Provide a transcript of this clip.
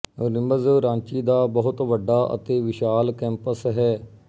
rims Ranchi ਦਾ ਬਹੁਤ ਵੱਡਾ ਅਤੇ ਵਿਸ਼ਾਲ ਕੈਂਪਸ ਹੈ